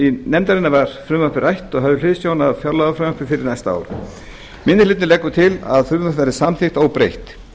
nefndarinnar var frumvarpið rætt og höfð hliðsjón af fjárlagafrumvarpi fyrir næsta ár minni hlutinn leggur til að frumvarpið verði samþykkt óbreytt